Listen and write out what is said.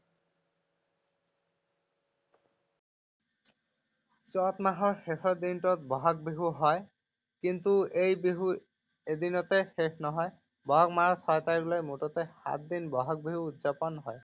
চত মাহৰ শেষৰ দিনটোত বহাগ বিহু হয়। কিন্তু এই বিহু এদিনতে শেষ নহয়। বহাগ মাহৰ ছয় তাৰিখলৈ মুঠতে সাতদিন বহাগ বিহু উদযাপন হয়।